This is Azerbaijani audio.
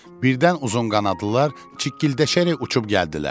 Birdən uzunqanadlılar çikkildəşərək uçub gəldilər.